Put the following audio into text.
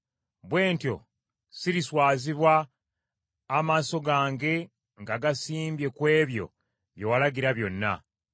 Bwe ntyo siriswazibwa, amaaso gange nga ngasimbye ku ebyo bye walagira byonna.